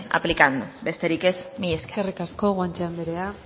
aplicando besterik ez mila esker eskerrik asko guanche anderea